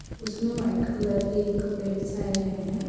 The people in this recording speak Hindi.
उसमे व्हाईट कलर के कपडे बिछाये गये है।